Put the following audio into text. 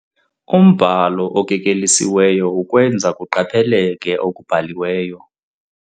Umbhalo okekelisiweyo ukwenza kuqapheleke okubhaliweyo.